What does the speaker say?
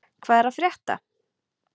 Hvað er að frétta?